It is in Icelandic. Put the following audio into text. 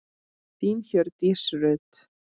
Þín, Hjördís Rut.